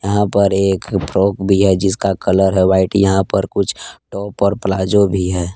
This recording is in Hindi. यहाँ पर एक फ्रॉक भी है जिसका कलर है वाइट यहाँ पर कुछ टॉप और प्लाजो भी है।